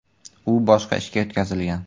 U boshqa ishga o‘tkazilgan.